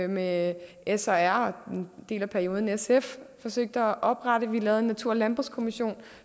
med s og r og en del af perioden også sf forsøgte at oprette vi lavede en natur og landbrugskommission